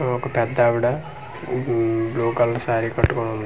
ఒక పెద్దావిడ um hmm blue colour sari కట్టుకొని వుంది .